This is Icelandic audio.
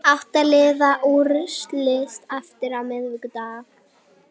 Átta liða úrslitin hefjast á miðvikudag